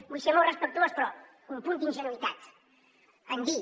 vull ser molt respectuós però un punt d’ingenuïtat en dir